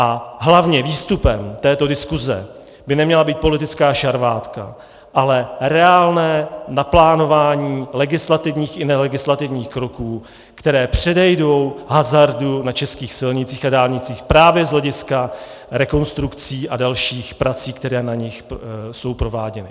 A hlavně výstupem této diskuse by neměla být politická šarvátka, ale reálné naplánování legislativních i nelegislativních kroků, které předejdou hazardu na českých silnicích a dálnicích právě z hlediska rekonstrukcí a dalších prací, které na nich jsou prováděny.